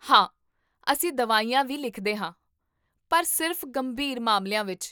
ਹਾਂ, ਅਸੀਂ ਦਵਾਈਆਂ ਵੀ ਲਿਖਦੇ ਹਾਂ, ਪਰ ਸਿਰਫ਼ ਗੰਭੀਰ ਮਾਮਲਿਆਂ ਵਿੱਚ